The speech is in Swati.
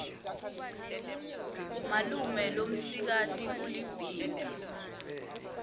malume lomsikati ulibhimbi